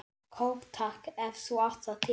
Kók takk, ef þú átt það til!